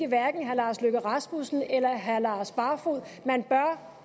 hverken herre lars løkke rasmussen eller herre lars barfoed man bør